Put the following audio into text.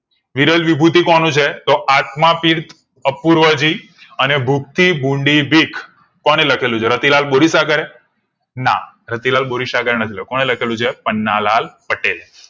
વિરલ વિભૂતિ કોનું છે આત્માતીર્થ અપૂર્વજી ભૂખ થી ભૂંડી બીક રતિલાલ બોરીસાગરે ના રતિલાલ બોરીસાગરે નથી લખેલુ કોણે લખેલું છે પન્નાલાલ પટેલે